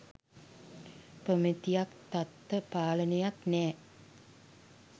ප්‍රමිතියක් තත්ව පාලනයක් නෑ.